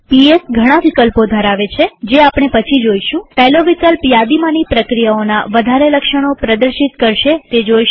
PS ઘણા વિકલ્પો ધરાવે છે જે આપણે પછી જોઈશુંપહેલો વિકલ્પ યાદીમાંની પ્રક્રિયાઓના વધારે લક્ષણો પ્રદર્શિત કરશે તે જોઈશું